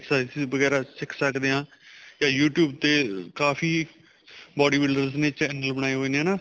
ਆਪਾਂ exercises ਵਗੈਰਾ ਸਿੱਖ ਸਕਦੇ ਹਾਂ ਜਾਂ you tube ਤੇ ਕਾਫ਼ੀ bodybuilders ਨੇ channel ਬਣਾਏ ਹੋਏ ਨੇ ਹਨਾ